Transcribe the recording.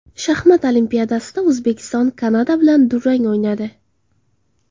Shaxmat Olimpiadasida O‘zbekiston Kanada bilan durang o‘ynadi.